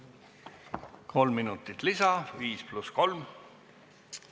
Kolm minutit lisa, viis pluss kolm minutit.